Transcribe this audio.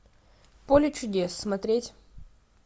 поле чудес смотреть